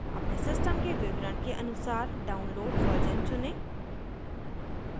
अपने सिस्टम के विवरण के अनुसार download version चुनें